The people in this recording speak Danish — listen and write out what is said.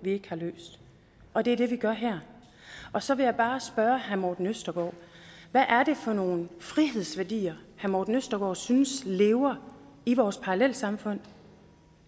vi ikke har løst og det er det vi gør her så vil jeg bare spørge herre morten østergaard hvad er det for nogen frihedsværdier herre morten østergaard synes lever i vores parallelsamfund